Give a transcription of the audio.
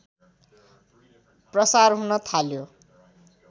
प्रसार हुन् थाल्यो